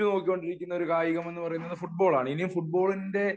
ഉറ്റുനോക്കികൊണ്ടിരിക്കുന്ന കായികം എന്ന് പറയുന്നത് ഫുട്ബോൾ ആണ്. ഇനി ഫുട്ബാളിന്റെ